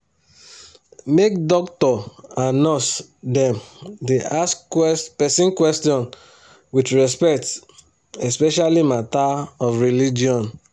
make doctor and nurse dem da ask person question with respect especially matter of religion